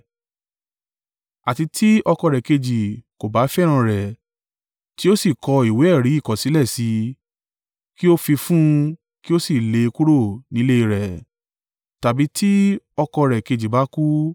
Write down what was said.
àti tí ọkọ rẹ̀ kejì kò bá fẹ́ràn rẹ̀ tí ó sì kọ ìwé-ẹ̀rí ìkọ̀sílẹ̀ sí i, kí ó fi fún un kí ó sì lé e kúrò nílé e rẹ̀, tàbí tí ọkọ rẹ̀ kejì bá kú,